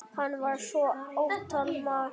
Hann var svo ótal margt.